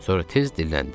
Sonra tez dilləndi: